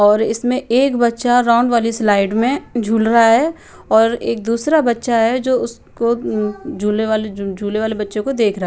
और इसमे एक बच्चा राउंड वाली स्लाइड में झूल रहा हैं और एक दूसरा बच्चा हैं जो उसको उम झूले वाल झूले वाले बच्चे को देख रहा हैं।